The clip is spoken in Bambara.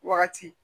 Wagati